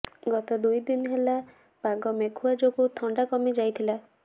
ଗତ ଦୁଇଦିନ ହେଲା ପାଗ ମେଘୁଆ ଯୋଗୁଁ ଥଣ୍ଡା କମିଯାଇଥିଲା